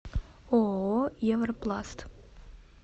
ооо европласт